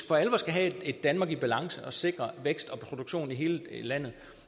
for alvor skal have et danmark i balance og sikre vækst og produktion i hele landet